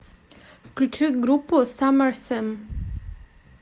включи группу саммэр сэм